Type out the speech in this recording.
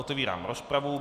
Otevírám rozpravu.